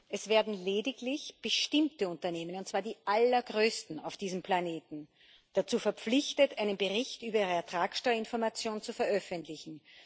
Es werden lediglich bestimmte Unternehmen, und zwar die allergrößten auf diesem Planeten, dazu verpflichtet, einen Bericht über ihre Ertragsteuerinformation zu veröffentlichen.